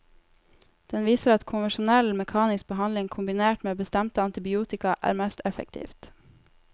Den viser at konvensjonell mekanisk behandling kombinert med bestemte antibiotika, er mest effektivt.